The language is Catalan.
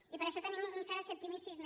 i per ai·xò tenim un cert escepticisme